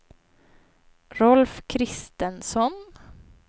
Rolf Christensson